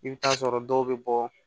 I bɛ taa sɔrɔ dɔw bɛ bɔ